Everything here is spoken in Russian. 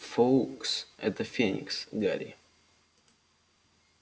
фоукс это феникс гарри